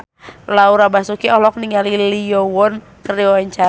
Laura Basuki olohok ningali Lee Yo Won keur diwawancara